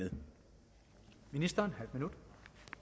ministeren